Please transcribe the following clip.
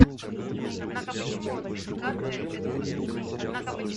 у тебя в списке есть мстители финал с актером данилой козловским